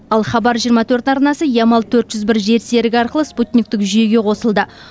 ал хабар жиырма төрт арнасы ямал төрт жүз бір жер серігі арқылы спутниктік жүйеге қосылды